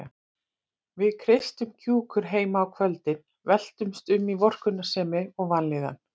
Við kreistum kjúkur heima á kvöldin, veltumst um í vorkunnsemi og vanlíðan.